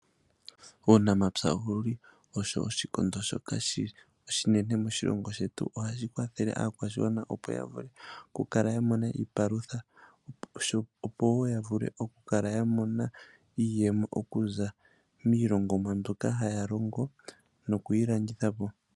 Uunamapya owuli owo oshikondo shoka oshinene moshilongo shetu. Ohashi kwathele aakwashigwana opo yavule okukala ya mona iipalutha opo woo yavule okukala ya mona iiyemo okuza miilongomwa mbyoka haya longo no kuyi landithapo.